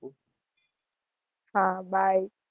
હા bye